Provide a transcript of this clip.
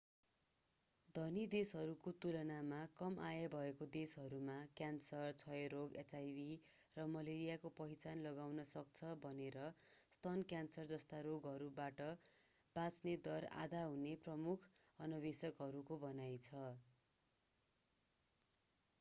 धनी देशहरूको तुलनामा कम आय भएका देशहरूमा क्यान्सर क्षयरोग एचआईभी र मलेरियाको पहिचान लगाउन सक्छ भनेर स्तन क्यान्सर जस्ता रोगहरूबाट बाँच्ने दर आधा हुने प्रमुख अन्वेषकहरूको भनाइ छ